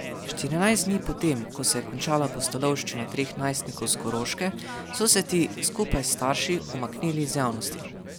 Štirinajst dni po tem, ko se je končala pustolovščina treh najstnikov s Koroške, so se ti, skupaj s starši, umaknili iz javnosti.